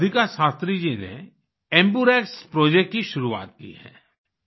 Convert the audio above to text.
वहाँ राधिका शास्त्री जी ने एम्बर्क्स एम्बुरेक्स प्रोजेक्ट की शुरुआत की है